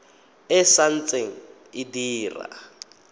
e sa ntse e dira